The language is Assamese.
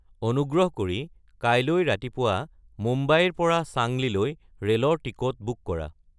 অনুগ্ৰহ কৰি কাইলৈ ৰাতিপুৱা মুম্বাইৰ পৰা চাংলিলৈ ৰে'লৰ টিকট বুক কৰা